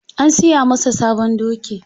An siya masa sabon doki.